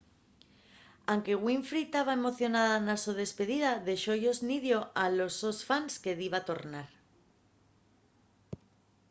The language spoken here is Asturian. anque winfrey taba emocionada na so despidida dexó-yos nidio a los sos fans que diba tornar